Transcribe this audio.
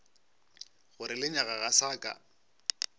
gore lenyaga ga sa ka